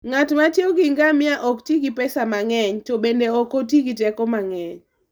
Ng'at ma tiyo gi ngamia ok ti gi pesa mang'eny, to bende ok oti gi teko mang'eny.